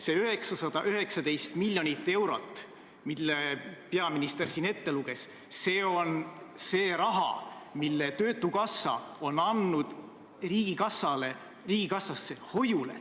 See 919 miljonit eurot, mis peaminister siin ette luges, on see raha, mille töötukassa on andnud riigikassasse hoiule.